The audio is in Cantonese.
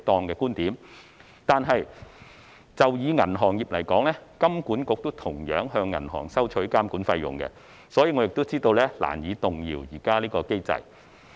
可是，以銀行業而言，金管局也同樣向銀行收取監管費用，所以我知道是難以動搖現時這個機制。